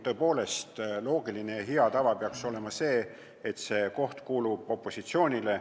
Tõepoolest, loogiline ja hea tava peaks olema, et see koht kuulub opositsioonile.